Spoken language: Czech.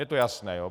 Je to jasné?